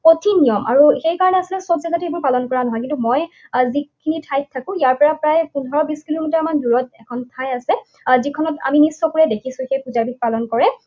কঠিন নিয়ম আৰু সেই কাৰণে আচলতে সব জেগাতে এইবোৰ পালন কৰা নহয়। কিন্তু মই আহ যিখিনি ঠাইত থাকো, ইয়াৰ পৰা প্ৰায় পোন্ধৰ, বিশ কিলোমিটাৰমান দূৰত এখন ঠাই আছে। আহ যিখনত আমি নিজ চকুৰে দেখিছোঁ সেই পূজাবিধ পালন কৰে।